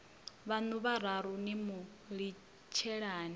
vhaṋu vhararu ni mu litshelani